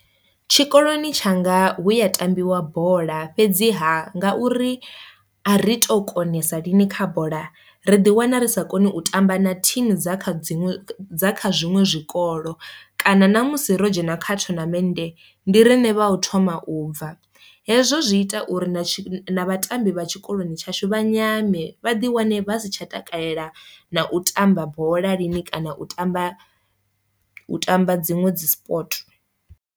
Tshikoloni tshanga hu ya tambiwa bola fhedziha nga uri a ri to konesa lini kha bola ri ḓi wana ri sa koni u tamba na thimu dza kha dziṅwe dza kha zwiṅwe zwikolo, kana ṋamusi ro dzhena kha thonamennde ndi riṋe vha u thoma u bva, hezwo zwi ita uri na vhatambi vha tshikoloni tshashu vha nyame vha ḓi wane vha si tsha takalela na u tamba bola lini kana u tamba u tamba dziṅwe dzi sport.